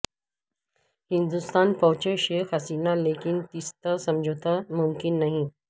ہندوستان پہنچیں شیخ حسینہ لیکن تیستا سمجھوتہ ممکن نہیں